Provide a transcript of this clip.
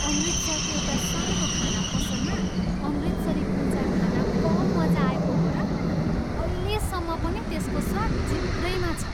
अमृतसरको एउटा सानो खाना पसलमा अमृतसरी कुल्चा खान कम मजा आएको हो र! अहिलेसम्म पनि त्यसको स्वाद जिब्रैमा छ।